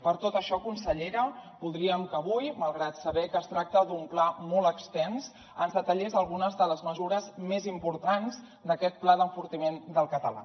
per tot això consellera voldríem que avui malgrat saber que es tracta d’un pla molt extens ens detallés algunes de les mesures més importants d’aquest pla d’enfortiment del català